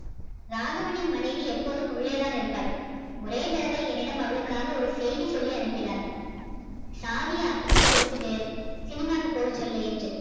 ராகவனின் மனைவி எப்போதும் உள்ளே தான் இருப்பாள் ஒரே தடவை என்னிடம் அவளுக்காக ஒரு செய்தி சொல்லி அனுப்பினார் சாவியை அப்புகிட்ட கொடுத்துட்டு சினிமாக்கு போக சொல்லு என்று